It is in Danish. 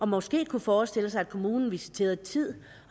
måske forestille sig at kommunen visiterede tid